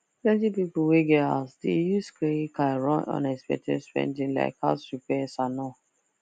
plenty people wey get house dey use credit card run unexpected spending like house repairs and all